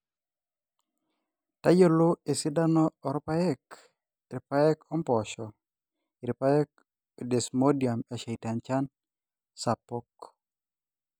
tayiolol esidano oopaek, irpaek ompoosho, irpaek o desmodium esheita enchan sapuk.